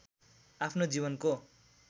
आफ्नो जीवनको